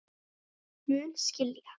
Mun skilja.